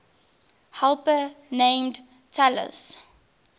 helper named talus